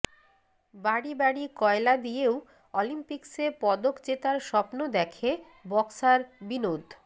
বাড়ি বাড়ি কয়লা দিয়েও অলিম্পিক্সে পদক জেতার স্বপ্ন দেখে বক্সার বিনোদ